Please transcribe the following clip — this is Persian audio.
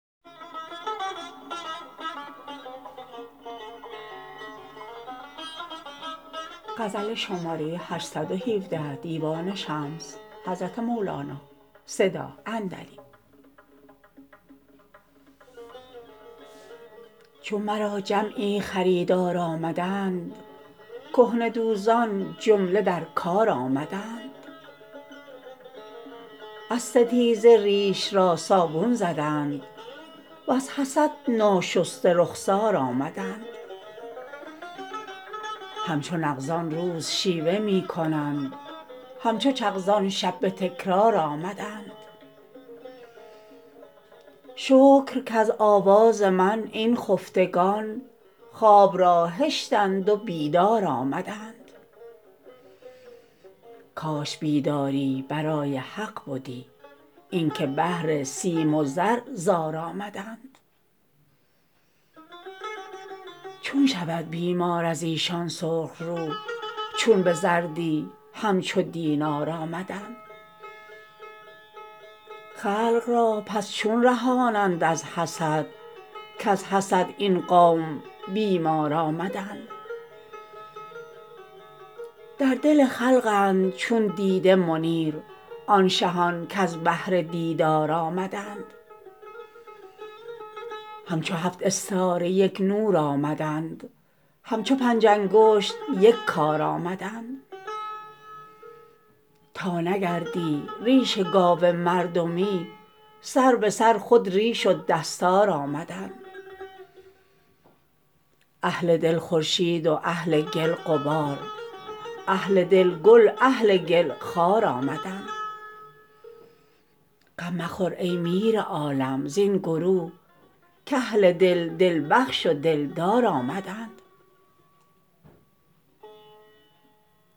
چون مرا جمعی خریدار آمدند کهنه دوزان جمله در کار آمدند از ستیزه ریش را صابون زدند وز حسد ناشسته رخسار آمدند همچو نغزان روز شیوه می کنند همچو چغزان شب به تکرار آمدند شکر کز آواز من این خفتگان خواب را هشتند و بیدار آمدند کاش بیداری برای حق بدی اینک بهر سیم و زر زار آمدند چون شود بیمار از ایشان سرخ رو چون به زردی همچو دینار آمدند خلق را پس چون رهانند از حسد کز حسد این قوم بیمار آمدند در دل خلقند چون دیده منیر آن شهان کز بهر دیدار آمدند همچو هفت استاره یک نور آمدند همچو پنج انگشت یک کار آمدند تا نگردی ریش گاو مردمی سر به سر خود ریش و دستار آمدند اهل دل خورشید و اهل گل غبار اهل دل گل اهل گل خار آمدند غم مخور ای میر عالم زین گروه کاهل دل دل بخش و دلدار آمدند